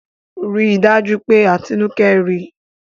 Rí dájú pé Atinúkẹ́ rí!